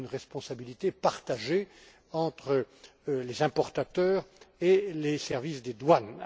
C'est une responsabilité partagée entre les importateurs et les services des douanes.